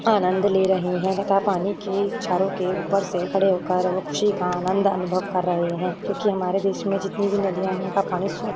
आंनद ले रहे है तथा पानी की बौछारों के ऊपर से खड़े हो कर खुशी का आनंद अनुभव कर रहे है क्योकि हमारे देश में जितनी भी नदियाँ है उनका पानी स्वच्छ --